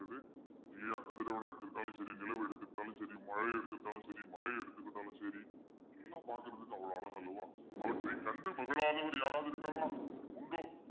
இல்ல கதிரவனை எடுத்துக்கிட்டாலும் சரி நிலவை எடுத்துக்கிட்டாலும் சரி மழையை எடுத்துக்கிட்டாலும் சரி மலையை எடுத்துக்கிட்டாலும் சரி எல்லாம் பார்க்கிறதுக்கு அவ்வளவு அழகு அல்லவா அவற்றை கண்டு மகிழாதவர் யாராவது இருக்காங்களா உண்டோ